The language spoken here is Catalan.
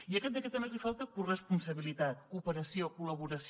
i a aquest decret a més li falta corresponsabilitat cooperació col·laboració